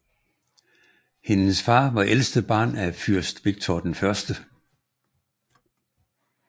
Hendes far var ældste barn af fyrst Viktor 1